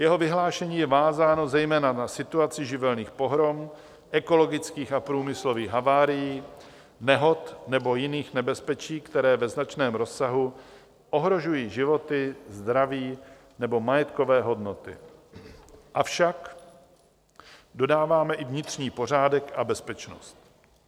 Jeho vyhlášení je vázáno zejména na situaci živelních pohrom, ekologických a průmyslových havárií, nehod nebo jiných nebezpečí, které ve značném rozsahu ohrožují životy, zdraví nebo majetkové hodnoty, avšak dodáváme, i vnitřní pořádek a bezpečnost.